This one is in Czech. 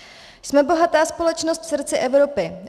Jsme bohatá společnost v srdci Evropy.